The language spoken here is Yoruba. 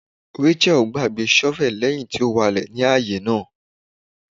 Racheal gbagbe shovel lẹhin ti n walẹ ni aaye naa